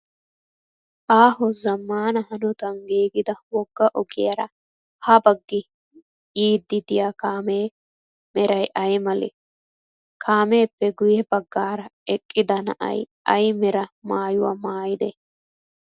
Aaho zammaana hanotan giigida wogga ogiyaara ha baggi yayidda diya kaame meray ay malee? Kaameppe guyye baggaara eqqidaa na"ay ay mera maayyuwaa maayidee?